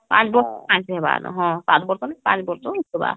ହମ୍ହଁ ସାତ ବର୍ଷ ନ ପାଞ୍ଚ ବର୍ଷ ହେଇଗଲା